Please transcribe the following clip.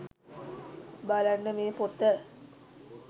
බලන්න මේ පොත